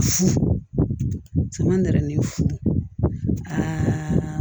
Fu ma nɛni fu aa